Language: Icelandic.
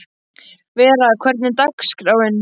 Vera, hvernig er dagskráin?